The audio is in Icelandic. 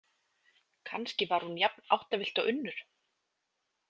Kannski var hún jafn áttavillt og Unnur.